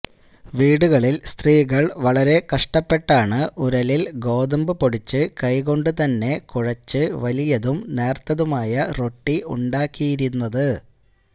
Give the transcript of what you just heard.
വീടുകളില് സ്ത്രീകള് വളരെ കഷ്ടപ്പെട്ടാണ് ഉരലില് ഗോതമ്പ് പൊടിച്ച് കൈകൊണ്ട് തന്നെ കുഴച്ച് വലിയതും നേര്ത്തതുമായ റൊട്ടി ഉണ്ടാക്കിയിരുന്നത്